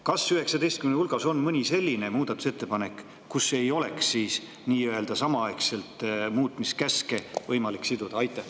Kas 19 hulgas on mõni selline muudatusettepanek, kus ei oleks muutmiskäske nii-öelda samaaegselt võimalik siduda?